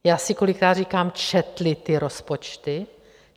Já si kolikrát říkám: Četli ty rozpočty?